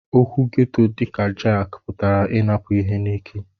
Okwu ghetto dika jaki putara inapu ihe n'ike.